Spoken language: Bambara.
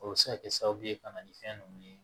O bɛ se ka kɛ sababu ye ka na ni fɛn ninnu ye